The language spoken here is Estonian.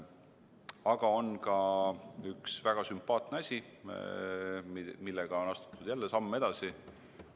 Aga on ka üks väga sümpaatne asi, millega on astutud jälle samm edasi.